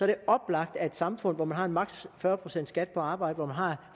det oplagt at et samfund hvor man har max fyrre procent skat på arbejde hvor man har